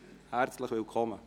Herzlich willkommen!